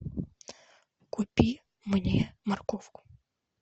купи мне морковку